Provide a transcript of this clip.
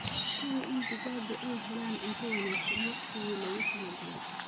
Hubi in digaaggu ay helaan cunto wanaagsan waqtigii loogu talagalay.